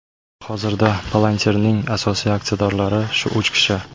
Hozirda Palantir’ning asosiy aksiyadorlari shu uch kishi.